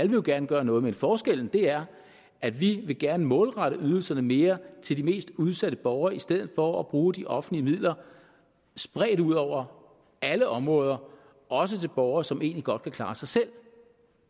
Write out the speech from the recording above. jo gerne gøre noget men forskellen er at vi gerne vil målrette ydelserne mere til de mest udsatte borgere i stedet for at bruge de offentlige midler spredt ud over alle områder også til borgere som egentlig godt kan klare sig selv